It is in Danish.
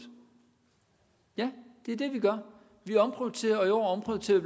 det er det vi gør vi omprioriterer og i år omprioriterer